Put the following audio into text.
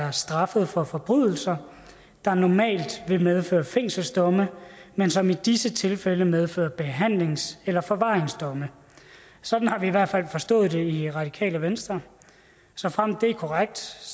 er straffet for forbrydelser der normalt vil medføre fængselsdomme men som i disse tilfælde medfører behandlings eller forvaringsdomme sådan har vi i hvert fald forstået det i radikale venstre såfremt det er korrekt